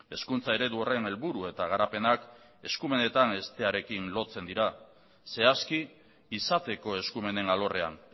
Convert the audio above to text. hezkuntza eredu horren helburu eta garapenak eskumenetan hestearekin lotzen dira zehazki izateko eskumenen alorrean